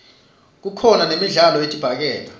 kukhona nemidlalo yedibhakela